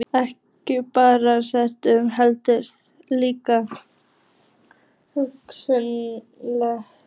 Ekki bara spari, heldur líka hvunndags.